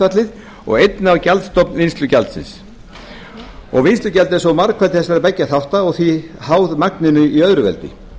gjaldhlutfallið og einnig á gjaldstofn vinnslugjaldsins vinnslugjaldið er margfeldi þessara beggja þátta og því háð magninu í öðru veldi